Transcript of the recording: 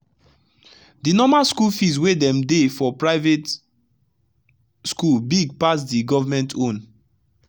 the normal school fees wey dem dey for private school big pasd government own